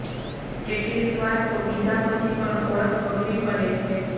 કેટલીક વાર તો પીધા પછી પણ ઓળખ અઘરી પડે છે